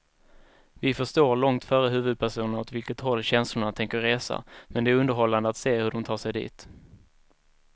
Vi förstår långt före huvudpersonerna åt vilket håll känslorna tänker resa, men det är underhållande att se hur de tar sig dit.